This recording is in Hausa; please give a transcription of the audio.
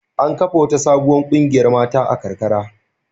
An kafa wata sabuwar ƙungiyar mata a karkara.